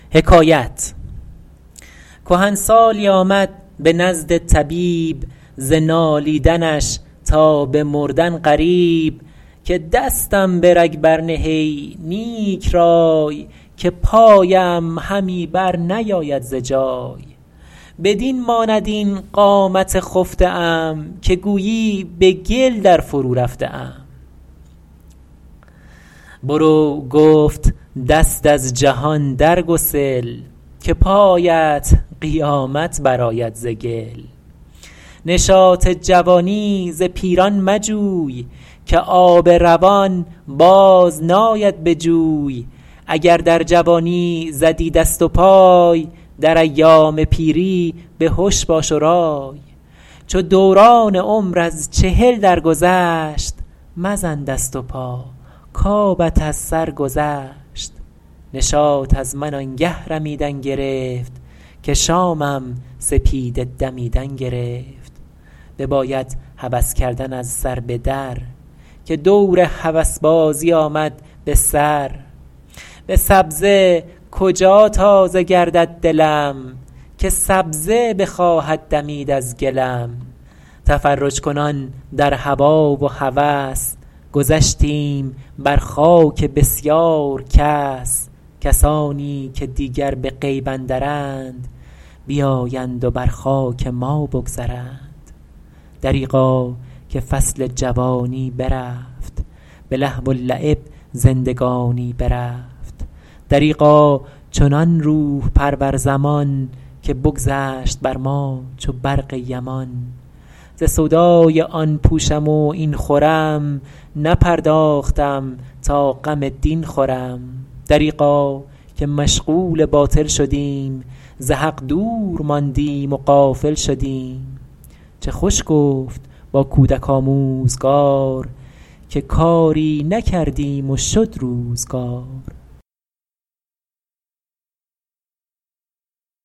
کهنسالی آمد به نزد طبیب ز نالیدنش تا به مردن قریب که دستم به رگ بر نه ای نیک رای که پایم همی بر نیاید ز جای بدین ماند این قامت خفته ام که گویی به گل در فرو رفته ام برو گفت دست از جهان در گسل که پایت قیامت برآید ز گل نشاط جوانی ز پیران مجوی که آب روان باز ناید به جوی اگر در جوانی زدی دست و پای در ایام پیری بهش باش و رای چو دوران عمر از چهل درگذشت مزن دست و پا کآبت از سر گذشت نشاط از من آن گه رمیدن گرفت که شامم سپیده دمیدن گرفت بباید هوس کردن از سر به در که دور هوسبازی آمد به سر به سبزه کجا تازه گردد دلم که سبزه بخواهد دمید از گلم تفرج ‎کنان در هوا و هوس گذشتیم بر خاک بسیار کس کسانی که دیگر به غیب اندرند بیایند و بر خاک ما بگذرند دریغا که فصل جوانی برفت به لهو و لعب زندگانی برفت دریغا چنان روح ‎پرور زمان که بگذشت بر ما چو برق یمان ز سودای آن پوشم و این خورم نپرداختم تا غم دین خورم دریغا که مشغول باطل شدیم ز حق دور ماندیم و غافل شدیم چه خوش گفت با کودک آموزگار که کاری نکردیم و شد روزگار